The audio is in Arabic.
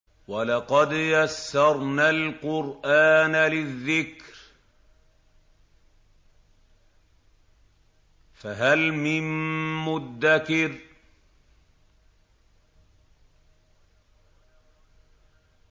وَلَقَدْ يَسَّرْنَا الْقُرْآنَ لِلذِّكْرِ فَهَلْ مِن مُّدَّكِرٍ